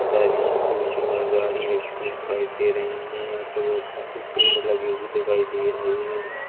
सारी स्कूटी और गाड़ी रखी दिखाई दे रही है यहाँ पे बहोत सारे पेड़ लगे हुए दिखाई दे रहे है।